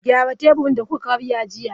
Gyara teburin da kuka karya jiya!